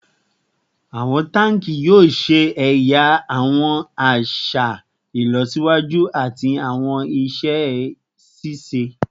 Awọn tanki yoo ṣe ẹya awọn aṣa ilọsiwaju ati awọn iṣẹ ṣiṣe